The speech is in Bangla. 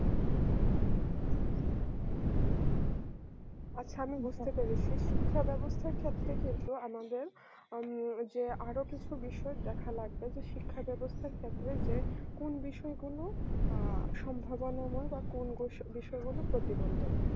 আচ্ছা আমি বুঝতে পেরেছি শিক্ষা ব্যবস্থার ক্ষেত্রে কিন্তু আমাদের আম যে আরো কিছু বিষয় দেখা লাগবে শিক্ষা ব্যবস্থার ক্ষেত্রে যে কোন বিষয়গুলো আ সম্ভাবনাময় বা বা কোন বিষয়গুলো প্রতিবন্ধক